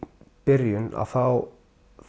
byrjun þá